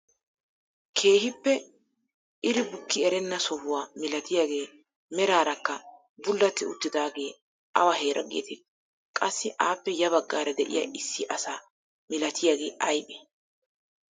Keehippe iri bukki erenna sohuwaa milatiyaagee meraarakka bullati uttidagee awa heeraa getettii? Qassi appe ya baggaara de'iyaa issi asa milatiyaagee aybee?